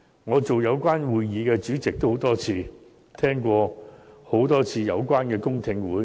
我曾多次擔任有關會議的主席，並多次聆聽有關的公聽會。